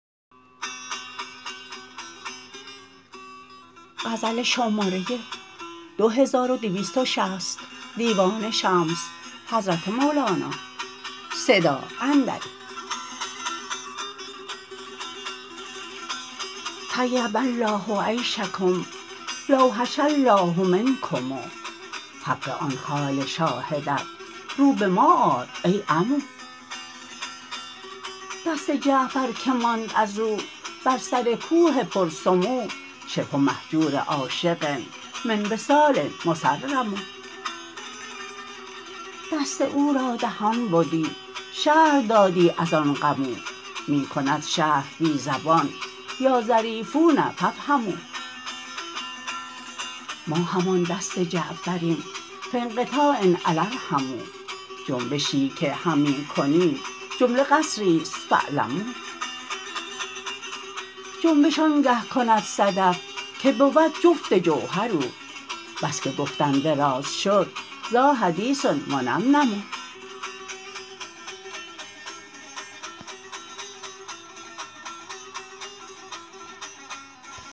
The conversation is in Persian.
طیب الله عیشکم لا وحش الله منکم حق آن خال شاهدت رو به ما آر ای عمو دست جعفر که ماند از او بر سر کوه پرسمو شبه مهجور عاشق من وصال مصرم دست او را دهان بدی شرح دادی از آن غم او می کند شرح بی زبان یا ظریفون فافهموا ما همان دست جعفریم فی انقطاع الا ارحموا جنبشی که همی کنیم جمله قسری است فاعلموا جنبش آنگه کند صدف که بود جفت جوهر او بس که گفتن دراز شد ذاحدیث منمنم